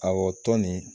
Awɔ tɔn nin